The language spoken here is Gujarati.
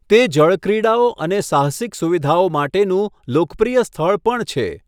તે જળક્રીડાઓ અને સાહસિક સુવિધાઓ માટેનું લોકપ્રિય સ્થળ પણ છે.